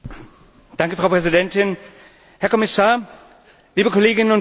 Frau Präsidentin, Herr Kommissar, liebe Kolleginnen und Kollegen!